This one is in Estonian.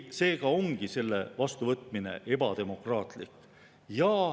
Seega ongi selle vastuvõtmine ebademokraatlik.